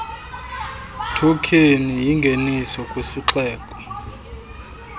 thokheni yingenise kwisixeko